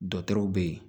Dɔkitɛrw be yen